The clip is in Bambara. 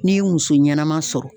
N'i ye muso ɲɛnama sɔrɔ